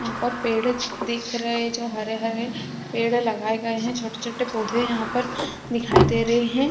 यहाँ पर पेड़ दिख रहे जो हरे-हरे पेड़ लगाए गए है छोटे-छोटे पौधे यहाँ पर दिखाई दे रहे है।